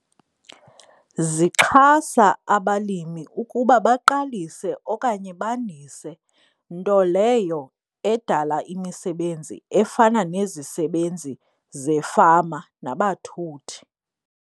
Zixhasa abalimi ukuba baqalise okanye bandise nto leyo edala imisebenzi efana nezisebenzi zefama nabathuthi.